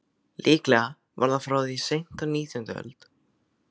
Líklega var það frá því seint á nítjándu öld.